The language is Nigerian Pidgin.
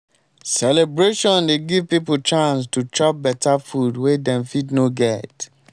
celebration dey give pipo chance to chop beta food wey dem fit no get.